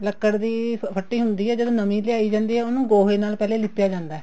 ਲੱਕੜ ਦੀ ਫੱਟੀ ਹੁੰਦੀ ਆ ਜਦੋਂ ਨਵੀਂ ਲਿਆਈ ਜਾਂਦੀ ਆ ਉਹਨੂੰ ਗੋਹੇ ਨਾਲ ਪਹਿਲਾਂ ਲਿੱਪਿਆ ਜਾਂਦਾ